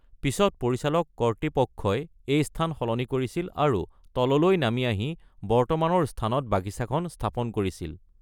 পিছত পৰিচালক কৰ্তৃপক্ষই এই স্থান সলনি কৰে আৰু তললৈ নামি আহি বৰ্তমানৰ স্থানত বাগিচাখন স্থাপন কৰিছিল।